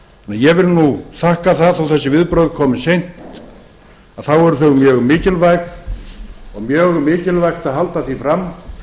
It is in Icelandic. ég vil nú þakka það að þó þessi viðbrögð komi seint þá eru þau mjög mikilvæg og mjög mikilvægt að halda því fram